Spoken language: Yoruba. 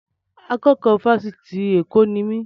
Akẹ́kọ̀ọ́ Fásitì Èkó ni mí.